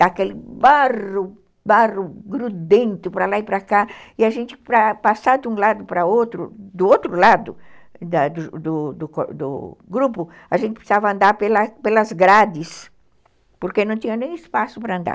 daquele barro barro grudento para lá e para cá, e a gente, para passar de um lado para outro, do outro lado do do do grupo, a gente precisava andar pelas grades, porque não tinha nem espaço para andar.